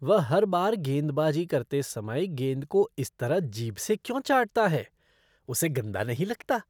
वह हर बार गेंदबाजी करते समय गेंद को इस तरह जीभ से क्यों चाटता हैं, उसे गंदा नहीं लगता?